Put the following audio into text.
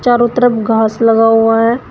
चारों तरफ घास लगा हुआ है।